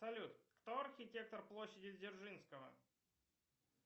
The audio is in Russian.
салют кто архитектор площади дзержинского